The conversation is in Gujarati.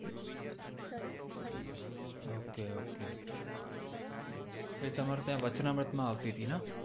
ok ok એ તમારે ત્યાં વચનામૃત માં આવતી હતી ને